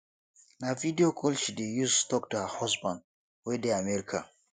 na video call she dey use tok to her husband wey dey america